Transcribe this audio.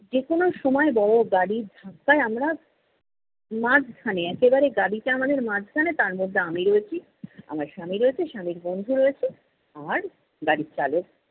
যে কোনো সময় বড় গাড়ির ধাক্কায় আমরা মাঝখানে একেবারে গাড়িটা আমাদের মাঝখানে তার মধ্যে আমি রয়েছি আমার স্বামী রয়েছে স্বামীর বন্ধু রয়েছে আর গাড়ির চালক